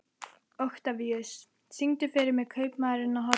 Oktavíus, syngdu fyrir mig „Kaupmaðurinn á horninu“.